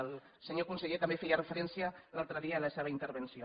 el senyor conseller també hi feia referència l’altre dia en la seva intervenció